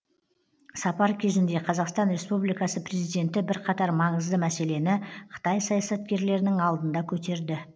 сапар кезінде қазақстан республикасы президенті бірқатар маңызды мәселені қытай саясаткерлерінің алдында көтерді